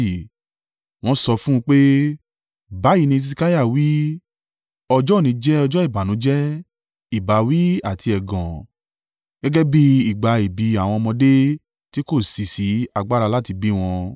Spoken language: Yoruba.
Wọ́n sọ fún un pé, “Báyìí ni Hesekiah wí, ọjọ́ òní jẹ́ ọjọ́ ìbànújẹ́, ìbáwí àti ẹ̀gàn gẹ́gẹ́ bí ìgbà ìbí àwọn ọmọdé tí kò sì ṣí agbára láti bí wọn.